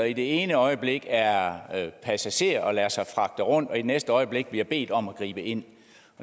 i det ene øjeblik er han passager og lader sig fragte rundt og i det næste øjeblik bliver han bedt om at gribe ind